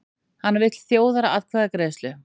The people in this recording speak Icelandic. Hann vill þjóðaratkvæðagreiðslu